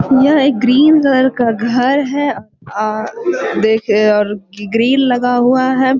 यह एक green colour का घर है और देख ग्रील लगा हुआ है।